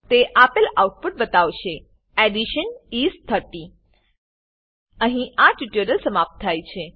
તે આપેલ આઉટપુટ બતાવશે એડિશન ઇસ 30 અહીં આ ટ્યુટોરીયલ સમાપ્ત થાય છે